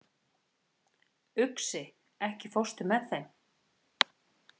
Uxi, ekki fórstu með þeim?